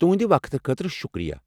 تُہٕنٛدِ وقتہٕ خٲطرٕ شکریہ۔